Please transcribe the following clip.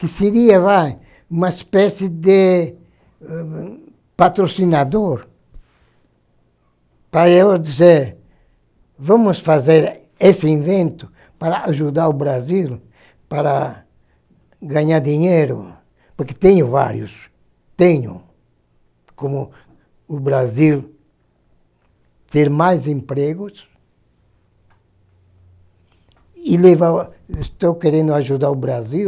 que seria vai, uma espécie de patrocinador para eu dizer, vamos fazer esse invento para ajudar o Brasil para ganhar dinheiro, porque tenho vários, tenho, como o Brasil ter mais empregos e levar, estou querendo ajudar o Brasil